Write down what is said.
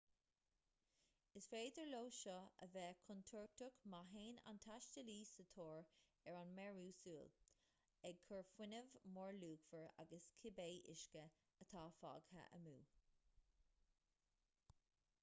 is féidir leo seo a bheith contúirteach má théann an taistealaí sa tóir ar an mearú súl ag cur fuinneamh mórluachmhar agus cibé uisce atá fágtha amú